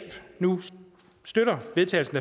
nu støtter